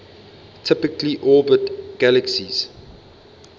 typically orbit galaxies